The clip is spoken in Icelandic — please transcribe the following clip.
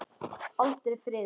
Aldrei friður.